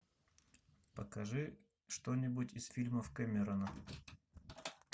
покажи что нибудь из фильмов кэмерона